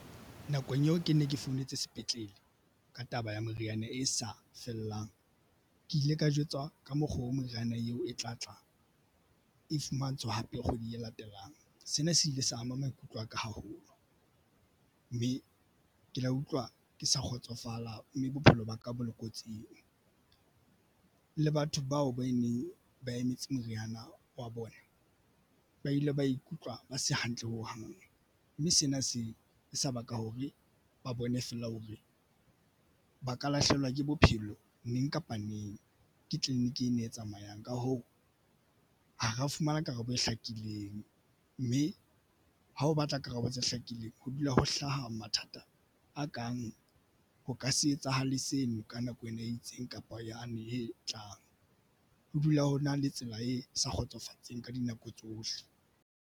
Nakong eo ke nne ke founetse sepetlele ka taba ya meriana e sa fellang ke ile ka jwetswa ka mokgwa o meriana eo e tlatla e fumantshwa hape kgweding e latelang. Sena se ile sa ama maikutlo aka haholo mme ke la utlwa ke sa kgotsofala mme bophelo ba ka ba le kotsing le batho bao ba neng ba emetse meriana wa bona. Ba ile ba ikutlwa ba se hantle ho hang mme sena se se baka hore ba bone feela hore ba ka lahlehelwa ke bophelo neng kapa neng. Ke tleliniki e tsamayang. Ka hoo, ha ra fumana karabo e hlakileng, mme ha o batla karabo tse hlakileng ho dula ho hlaha mathata a kang ho ka se etsahale seno ka nako ena e itseng kapa yane e tlang. Ho dula ho na le tsela e sa kgotsofatseng ka dinako tsohle.